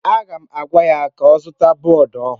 M ga-agwa ya ka ọ zụta bọọdụ ọhụrụ.